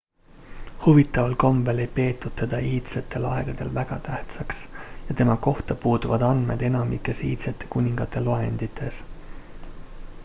huvitaval kombel ei peetud teda iidsetel aegadel väga tähtsaks ja tema kohta puuduvad andmed enamikes iidsete kuningate loendites